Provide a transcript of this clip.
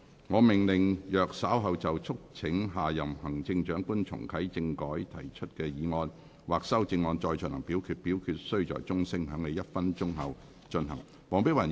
我命令若稍後就"促請下任行政長官重啟政改"所提出的議案或修正案再進行點名表決，表決須在鐘聲響起1分鐘後進行。